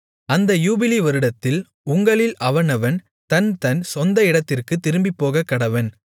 அந்த யூபிலி வருடத்தில் உங்களில் அவனவன் தன்தன் சொந்த இடத்திற்குத் திரும்பிப்போகக்கடவன்